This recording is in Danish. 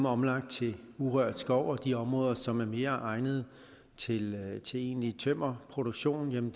omlagt til urørt skov og de områder som er mere egnede til egentlig tømmerproduktion